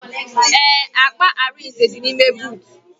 Ee, akpa Arinze dị n'ime boot